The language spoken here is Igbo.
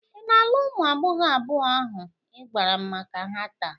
Ị na-alụ ụmụ agbọghọ abụọ ahụ ị gwara m maka ha taa?